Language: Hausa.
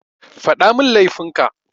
Faɗamin laifin ka.